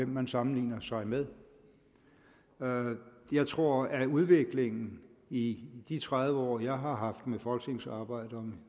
man sammenligner sig med jeg tror at udviklingen i de tredive år jeg har haft med folketingsarbejde og